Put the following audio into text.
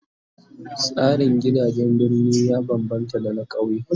Tsarin gidajen birni ya bambamta da na kauye